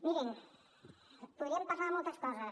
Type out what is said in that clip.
mirin podríem parlar de moltes coses